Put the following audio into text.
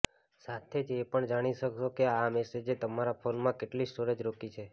સાથે જ એ પણ જાણી શકશો કે આ મેસેજે તમારા ફોનમાં કેટલી સ્ટોરેજ રોકી છે